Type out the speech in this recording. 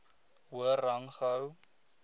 hoër rang gehou